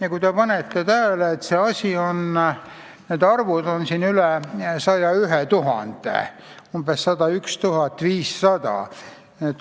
Ja kui te panete tähele, siis need arvud olid aastal 2016 üle 101 000, umbes 101 500.